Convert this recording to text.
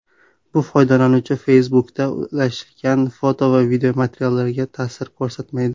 Bu foydalanuvchi Facebook’da ulashgan foto va videomateriallarga ta’sir ko‘rsatmaydi.